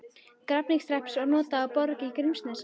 Grafningshrepps og notað á Borg í Grímsnesi.